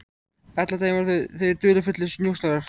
Allan daginn voru þau dularfullir njósnarar.